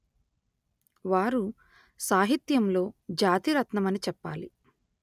వారు సాహిత్యంలో జాతిరత్నమని చెప్పాలి